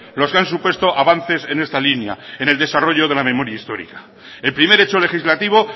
los que han supuesto avances en esta línea en el desarrollo de la memoria histórica el primer hecho legislativo